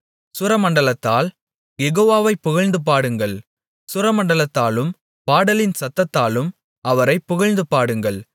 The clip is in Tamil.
சுரமண்டலத்தால் யெகோவாவைப் புகழ்ந்துபாடுங்கள் சுரமண்டலத்தாலும் பாடலின் சத்தத்தாலும் அவரைப் புகழ்ந்துபாடுங்கள்